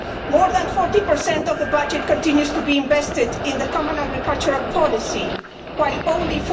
More than 40 of the budget continues to be invested in the common agricultural policy, while only